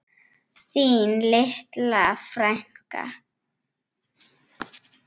Þín litla frænka.